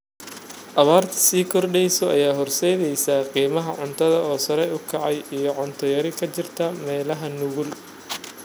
Abaarta sii kordheysa ayaa horseedaysa qiimaha cuntada oo sare u kacay iyo cunto yari ka jirta meelaha nugul.